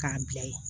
K'a bila ye